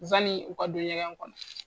Yanni u ka don ɲɛgɛn kɔnɔ